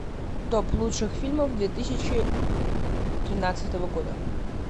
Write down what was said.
топ лучших фильмов две тысячи тринадцатого года